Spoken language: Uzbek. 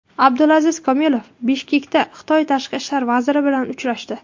Abdulaziz Komilov Bishkekda Xitoy tashqi ishlar vaziri bilan uchrashdi.